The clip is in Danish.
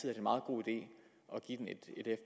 er en meget god idé at